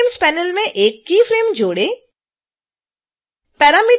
keyframes panel में एक keyframe जोड़ें